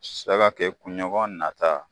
Sara te ɲɔgɔn nata